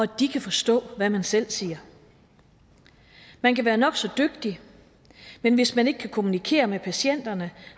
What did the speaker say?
de kan forstå hvad man selv siger man kan være nok så dygtig men hvis man ikke kan kommunikere med patienterne